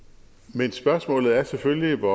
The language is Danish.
men spørgsmålet er selvfølgelig hvor